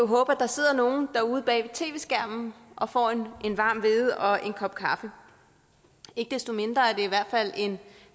håbe at der sidder nogle derude bag tv skærmen og får en varm hvede og en kop kaffe ikke desto mindre er det i hvert fald en